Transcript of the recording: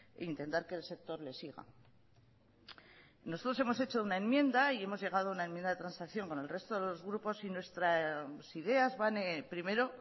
intentar que el sector le siga nosotros hemos hecho una enmienda y hemos llegado a una enmienda de transacción con el resto de los grupos y nuestras ideas van primero